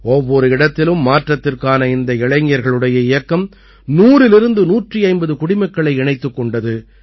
ஒவ்வொரு இடத்திலும் மாற்றத்திற்கான இந்த இளைஞர்களுடைய இயக்கம் நூறிலிருந்து நூற்று ஐம்பது குடிமக்களை இணைத்துக் கொண்டது